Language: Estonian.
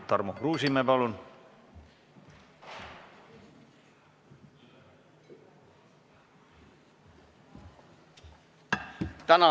Tarmo Kruusimäe, palun!